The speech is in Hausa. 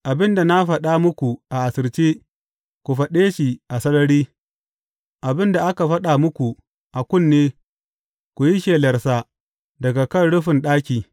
Abin da na faɗa muku a asirce, ku faɗe shi a sarari; abin da aka faɗa muku a kunne, ku yi shelarsa daga kan rufin ɗaki.